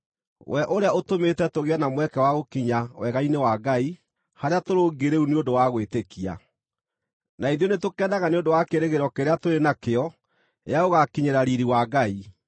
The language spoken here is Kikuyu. we ũrĩa ũtũmĩte tũgĩe na mweke wa gũkinya wega-inĩ wa Ngai, harĩa tũrũngiĩ rĩu nĩ ũndũ wa gwĩtĩkia. Na ithuĩ nĩtũkenaga nĩ ũndũ wa kĩĩrĩgĩrĩro kĩrĩa tũrĩ nakĩo gĩa gũgaakinyĩra riiri wa Ngai.